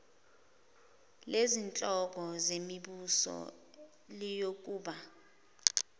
lezinhloko zemibuso liyokuba